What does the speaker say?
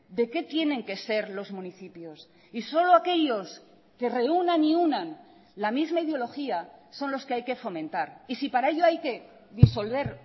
de qué tienen que ser los municipios y solo aquellos que reúnan y unan la misma ideología son los que hay que fomentar y sí para ello hay que disolver